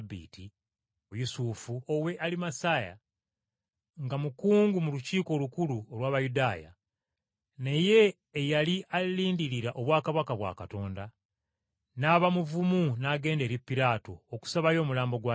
Yusufu ow’e Alimasaya, nga mukungu mu Lukiiko Olukulu olw’Abayudaaya, naye eyali alindirira obwakabaka bwa Katonda, n’aba muvumu n’agenda eri Piraato okusabayo omulambo gwa Yesu.